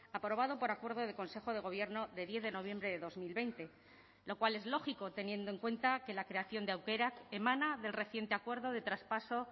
aprobado por acuerdo de consejo de gobierno de diez de noviembre de dos mil veinte lo cual es lógico teniendo en cuenta que la creación de aukerak emana del reciente acuerdo de traspaso